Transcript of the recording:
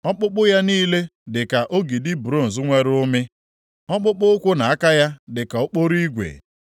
Ọkpụkpụ ya niile dịka ogidi bronz nwere ụmị, ọkpụkpụ ụkwụ na aka ya dịka okporo igwe.